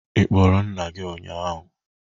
Ị kpọrọ nna gị ụnyahụ?